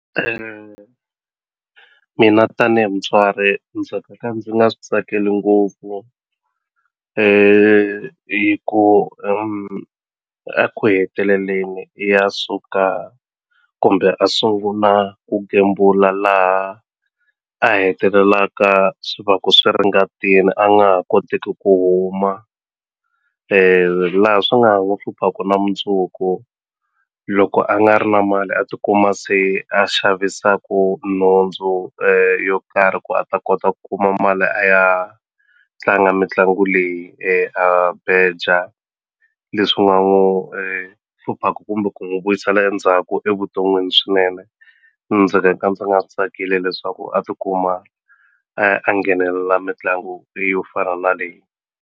Mina tanihi mutswari ndzi nga ka ndzi nga swi tsakeli ngopfu hi ku a ku heteleleni i ya suka kumbe a sunguna ku gembula laha a hetelelaka swi vaku swi ri ngatini a nga ha koteki ku huma laha swi nga ha n'wu hluphaku na mundzuku loko a nga ri na mali a tikuma se a xavisaku nhundzu yo karhi ku a ta kota ku kuma mali a ya tlanga mitlangu leyi a beja leswi nga n'wu hluphaku kumbe ku n'wi vuyisela endzhaku evuton'wini swinene ndzi nga ka ndzi nga swi tsakili leswaku a tikuma a nghenelela mitlangu leyo fana na leyi.